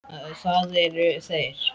Það eru þeir.